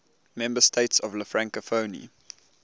member states of la francophonie